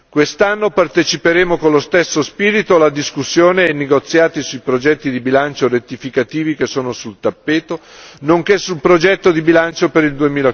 Quest'anno parteciperemo con lo stesso spirito alla discussione e ai negoziati sui progetti di bilancio rettificativi che sono sul tappeto, nonché sul progetto di bilancio per il